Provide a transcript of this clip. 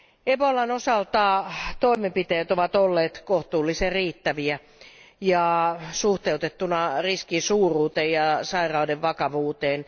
Ebolan osalta toimenpiteet ovat olleet kohtuullisen riittäviä ja suhteutettuja riskin suuruuteen ja sairauden vakavuuteen.